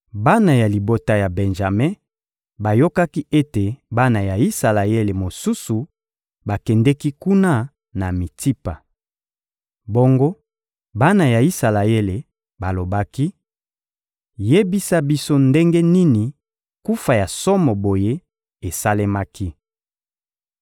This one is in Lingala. Bana ya libota ya Benjame bayokaki ete bana ya Isalaele mosusu bakendeki kuna na Mitsipa. Bongo bana ya Isalaele balobaki: — Yebisa biso ndenge nini kufa ya somo boye esalemaki.